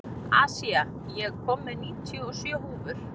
Asía, ég kom með níutíu og sjö húfur!